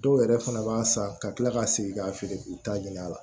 Dɔw yɛrɛ fana b'a san ka kila ka segin ka feere k'u ta ɲin'a la